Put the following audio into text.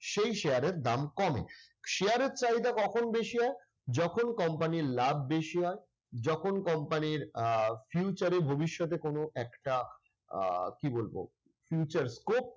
সেই share এর দাম কমে। share এর চাহিদা কখন বেশি হয়? যখন company র লাভ বেশি হয়, যখন company র আহ future এ ভবিষ্যতে কোন একটা আহ কি বলবো future scope